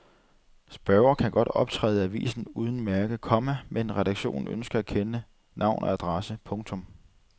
Spørgere kan godt optræde i avisen under mærke, komma men redaktionen ønsker at kende navn og adresse. punktum